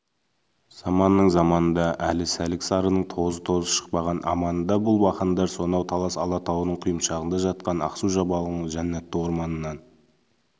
заманның заманында әлі сәлік-сарының тоз-тозы шықпаған аманында бұл бақандар сонау талас алатауының құйымшағында жатқан ақсу-жабағылының жәннатты орманынан